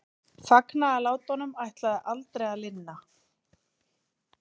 Fagnaðarlátunum ætlaði aldrei að linna.